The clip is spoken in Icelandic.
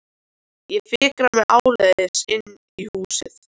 Ég fikra mig áleiðis inn í húsið.